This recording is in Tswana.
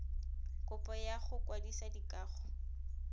kopo ya go kwadisa dikago